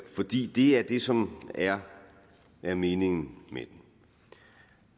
fordi det er det som er er meningen